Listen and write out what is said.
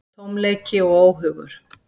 Tómleiki og óhugur.